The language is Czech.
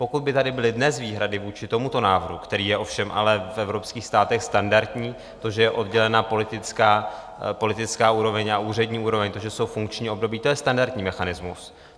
Pokud by tady byly dnes výhrady vůči tomuto návrhu, který je ovšem ale v evropských státech standardní, to, že je oddělena politická úroveň a úřední úroveň, to, že jsou funkční období, to je standardní mechanismus.